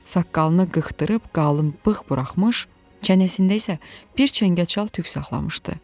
Saqqalını qıxdırıb, qalın bığ buraxmış, çənəsində isə bir çəngəl çal tük saxlamışdı.